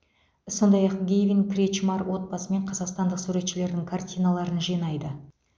сондай ақ гэйвин кретчмар отбасымен қазақстандық суретшілердің картиналарын жинайды